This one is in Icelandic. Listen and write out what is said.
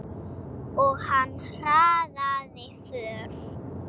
Og hann hraðaði för.